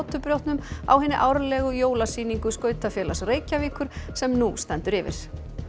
Hnotubrjótnum á hinni árlegri jólasýningu skautafélags Reykjavíkur sem nú stendur yfir